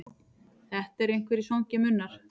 Þetta eru einhverjir svangir munnar.